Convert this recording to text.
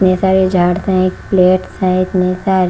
मेसब ये झाड़ते है एक प्लेट है एक--